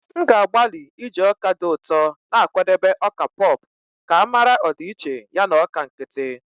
M ga-agbalị iji ọka dị ụtọ na-akwadebe ọka pop ka mara ọdịiche ya na ọka nkịtị.